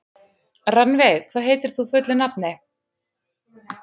Rannveig, hvað heitir þú fullu nafni?